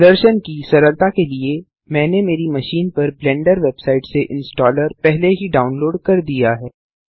प्रदर्शन की सरलता के लिए मैंने मेरी मशीन पर ब्लेंडर वेबसाइट से इंस्टॉलर पहले ही डाउनलोड कर दिया है